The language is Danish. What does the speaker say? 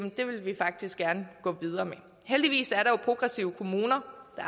at det ville vi faktisk gerne gå videre med heldigvis er der jo progressive kommuner og